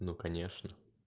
ну конечно